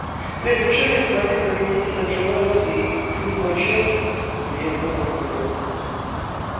блять ну что мне смотреть как они здесь отжимаются и пьют мой чай мне это нахуй не надо